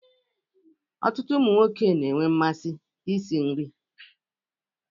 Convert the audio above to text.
Ọtụtụ ụmụ nwoke na-enwe mmasị isi nri